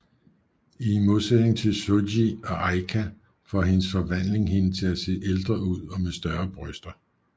I modsætning til Souji og Aika får hendes forvandling hende til at se ældre ud og med større bryster